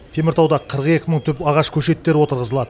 теміртауда қырық екі мың түп ағаш көшеттері отырғызылады